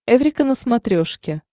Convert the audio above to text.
эврика на смотрешке